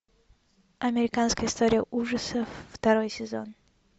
американская история ужасов второй сезон